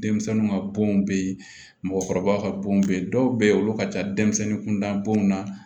Denmisɛnninw ka bɔn be yen mɔgɔkɔrɔbaw ka bon be yen dɔw be yen olu ka ca denmisɛnnin kunda bɔn na